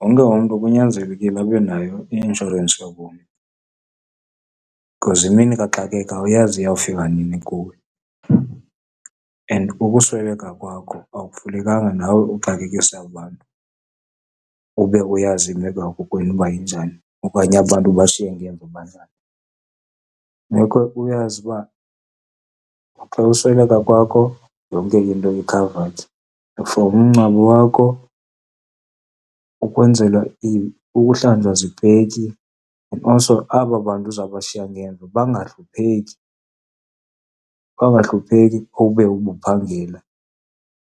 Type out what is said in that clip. Wonke umntu kunyanzelekile abe nayo i-inshorensi yobomi, because imini kaxakeka awuyazi iyawufika nini kuwe and ukusweleka kwakho akufunekanga nawe uxakekise abantu ube uyazi imeko yakokwenu ukuba injani, okanye aba bantu obashiya ngemva banjani. Kufuneka uyazi ukuba xa usweleka kwakho yonke into i-covered for umngcwabo wakho, ukwenzelwa , ukuhlwanjwa zipeki. Also aba bantu uzabashiya ngemva bangahlupheki, bangahlupheki ube ubuphangela,